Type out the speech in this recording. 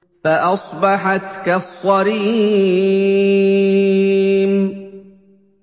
فَأَصْبَحَتْ كَالصَّرِيمِ